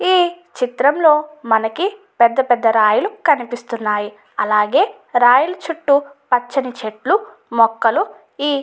ఈ చిత్రంలో మనకి పెద్ద పెద్ద రాయిలు కనిపిస్తున్నాయి అలాగే రాయిలు చుట్టూ పచ్చని చెట్లు మొక్కలు ఈ --